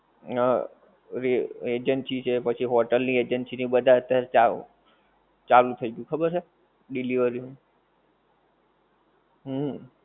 હા ઓલી agency છે પછી hotel ની agency ઈ બધાં અત્યાર ચાવ ચાલુ થઈ ગયું ખબર છે delivery ની હમ